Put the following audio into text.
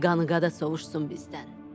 Təki qanı qada sovuşsun bizdən.